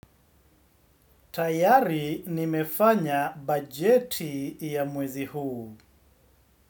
Tayari nimefanya bajeti ya mwezi huu.